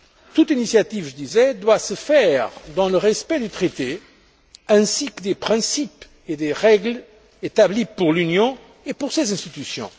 toute initiative, disais je, doit se faire dans le respect du traité ainsi que des principes et des règles établis pour l'Union et pour ses institutions.